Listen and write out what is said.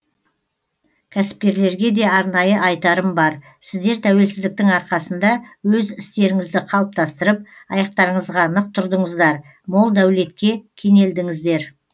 кәсіпкерлерге де арнайы айтарым бар сіздер тәуелсіздіктің арқасында өз істеріңізді қалыптастырып аяқтарыңызға нық тұрдыңыздар мол дәулетке кенелдіңіздер